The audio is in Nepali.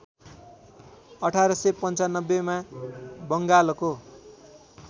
१८९५ मा बङ्गालको